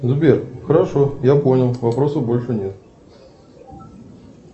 сбер хорошо я понял вопросов больше нет